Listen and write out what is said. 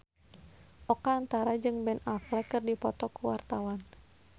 Oka Antara jeung Ben Affleck keur dipoto ku wartawan